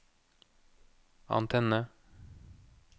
antenne